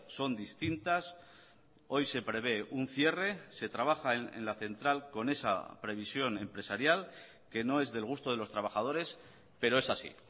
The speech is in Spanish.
son distintas hoy se prevé un cierre se trabaja en la central con esa previsión empresarial que no es del gusto de los trabajadores pero es así